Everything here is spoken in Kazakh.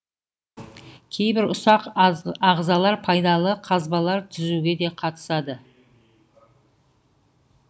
кейбір ұсақ азғалар пайдалы қазбалар түзуге де қатысады